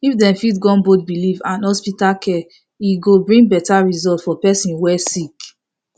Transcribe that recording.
if dem fit gum both belief and hospital care e go bring better result for the person wey sick